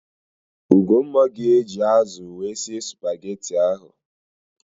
Ugomma ga-eji ázụ̀ wee sie spageti ahụ.